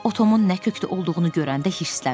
O Tomun nə kökdə olduğunu görəndə hirsləndi.